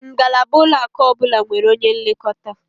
Ngalaba ụlọaku ọbụla nwere onye nlekọta